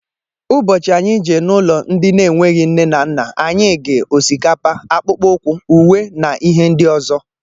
Ụbọchị anyị jee n'ụlọ ndị na enweghị nne na nna anyị gi: osikapa, akpụkpọ ukwu, uwe na ihe ndị ọzọ.